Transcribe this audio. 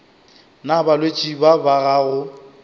na balwetši ba ba gago